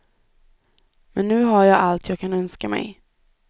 Men nu har jag allt jag kan önska mig.